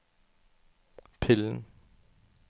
pillen